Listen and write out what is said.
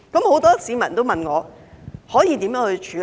很多市民也問我可以如何處理。